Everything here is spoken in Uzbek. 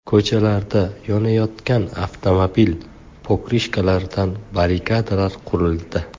Ko‘chalarda yonayotgan avtomobil pokrishkalaridan barrikadalar qurildi.